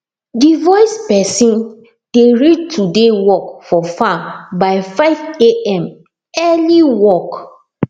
the voice person dey read today work for farm by 5am early work